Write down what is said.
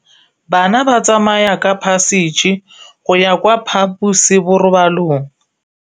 Bana ba tsamaya ka phašitshe go ya kwa phaposiborobalong.